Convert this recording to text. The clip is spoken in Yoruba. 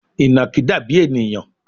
Ìnàkí dàbí ènìyàn